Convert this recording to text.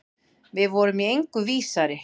Við vorum í engu vísari.